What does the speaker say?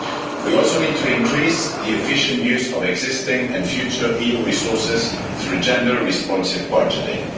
We also need to increase the efficient use of existing and future EU resources through gender responsive budgeting.